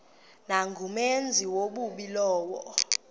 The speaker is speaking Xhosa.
nangumenzi wobubi lowo